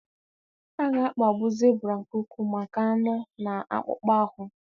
A ga-akpagbu zibra nke ukwuu maka anụ na akpụkpọ ahụ.